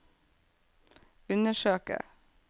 undersøke